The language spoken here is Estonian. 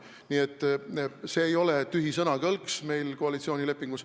Nii et see ei ole tühi sõnakõlks koalitsioonilepingus.